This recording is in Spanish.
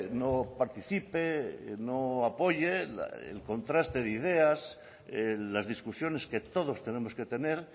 no participe no apoye el contraste de ideas las discusiones que todos tenemos que tener